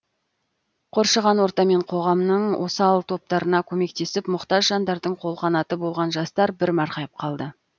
қоршаған орта мен қоғамның осал топтарына көмектесіп мұқтаж жандардың қолқанаты болған жастар бір марқайып қалды